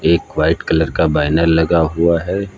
एक white colour का बैनर लगा हुआ है।